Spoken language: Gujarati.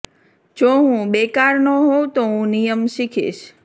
જો હું બેકાર ન હોઉં તો હું નિયમ શીખીશ